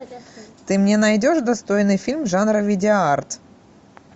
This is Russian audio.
ты мне найдешь достойный фильм жанра видеоарт